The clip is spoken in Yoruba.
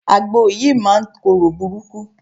Àgbò yìí máa ń korò burúkú.